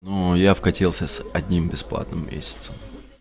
ну я вкатился с одним бесплатным месяцем